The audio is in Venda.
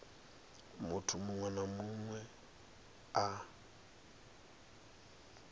munthu muṅwe na muṅwe a